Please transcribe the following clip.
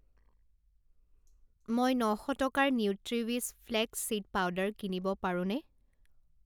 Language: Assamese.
মই ন শ টকাৰ নিউট্ৰিৱিছ ফ্লেক্স চিড পাউডাৰ কিনিব পাৰোঁনে?